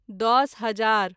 दस हजार